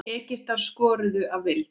Egyptar skoruðu að vild.